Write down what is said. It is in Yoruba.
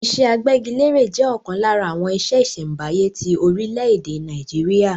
Iṣẹ́ agbẹ́gilére jẹ́ ọ̀kan lára àwọn iṣẹ́ ìṣẹ̀m̀báyé ti orílẹ̀-èdè Nàìjíríà.